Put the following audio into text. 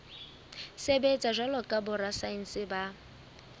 sebetsa jwalo ka borasaense ba